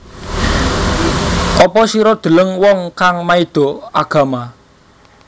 Apa sira deleng wong kang maido agama